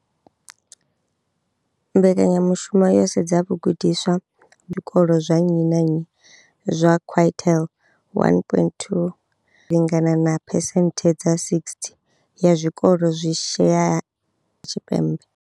Mbekanya mushumo yo sedza vhagudiswa kha zwikolo zwa nnyi na nnyi zwa quintile 1. 2, zwi lingana na phesenthe dza 60 ya zwikolo zwi shayaho Tshipembe.